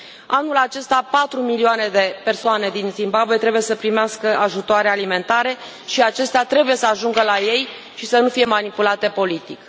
Anul acesta, patru milioane de persoane din Zimbabwe trebuie să primească ajutoare alimentare și acestea trebuie să ajungă la ei și să nu fie manipulate politic.